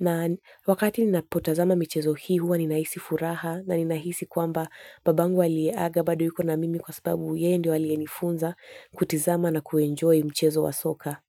Na wakati ninapotazama michezo hii huwa ninahisi furaha na ninahisi kwamba baba yangu aliyeaga bado yuko na mimi kwa sababu yeye ndiye aliyenifunza kutizama na kuenjoy mchezo wa soka.